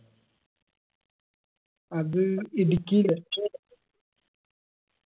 അത് ഇടുക്കീല്